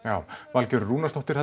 Valgerður Rúnarsdóttir